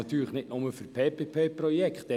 Das gilt natürlich nicht nur für PPP-Projekte.